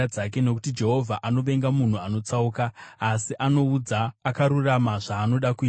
nokuti Jehovha anovenga munhu akatsauka, asi anoudza akarurama zvaanoda kuita.